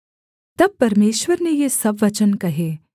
तब परमेश्वर ने ये सब वचन कहे